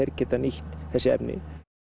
getum nýtt þessi efni